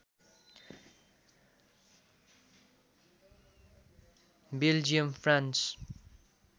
Belgium France